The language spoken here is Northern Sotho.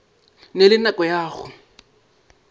na le nako ya go